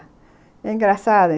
É engraçado.